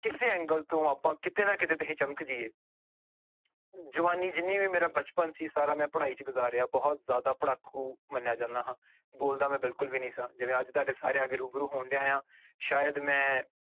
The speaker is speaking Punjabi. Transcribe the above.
ਕਿਸੇ angle ਤੋਂ ਆਪਾਂ ਕਿਤੇ ਨਾ ਕਿਤੇ ਤੇ ਇਹ ਚਮਕ ਜਾਈਏ ਜਵਾਨੀ ਜਿੰਨੀ ਵੀ ਮੇਰਾ ਬਚਪਨ ਸੀ ਸਾਰਾ ਮੈਂ ਪੜ੍ਹਾਈ ਚ ਗੁਜ਼ਾਰਿਆ ਬਹੁਤ ਜ਼ਿਆਦਾ ਪੜ੍ਹਾਕੂ ਮੰਨਿਆ ਜਾਂਦਾ ਹਾਂ, ਬੋਲਦਾ ਮੈਂ ਬਿਲਕੁਲ ਵੀ ਨੀ ਸਾਂ ਜਿਵੇਂ ਅੱਜ ਤੁਹਾਡੇ ਸਾਰਿਆਂ ਅੱਗੇ ਰੁਬਰੂ ਹੋਣ ਡਿਆਂ ਆਂ ਸ਼ਾਇਦ ਮੈਂ